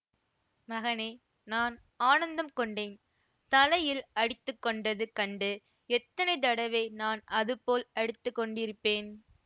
மகனே நான் ஆனந்தம் கொண்டேன் தலையில் அடித்துக்கொண்டது கண்டு எத்தனை தடவை நான் அதுபோல் அடித்துக்கொண்டிருப்பேன்